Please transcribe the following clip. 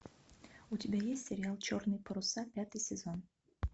у тебя есть сериал черные паруса пятый сезон